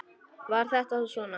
Var þetta þá svona?